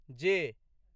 जे